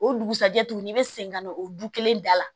O dugusajɛ tuguni i bɛ segin ka na o du kelen da la